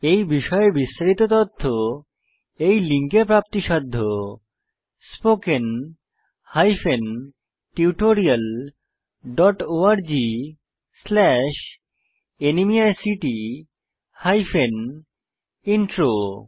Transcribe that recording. এই বিষয়ে বিস্তারিত তথ্য এই লিঙ্ক এ প্রাপ্তিসাধ্য spoken tutorialorgnmeict ইন্ট্রো